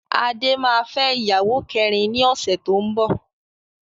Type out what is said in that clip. Adé máa fẹ́ ìyàwó kẹrin ni ọ̀sẹ̀ tó ń bọ̀.